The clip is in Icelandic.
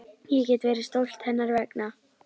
Ég get verið stolt hennar vegna.